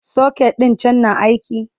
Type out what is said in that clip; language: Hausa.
socket ɗin can na aiki?